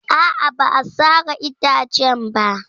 A'a, ba a sare itacen ba.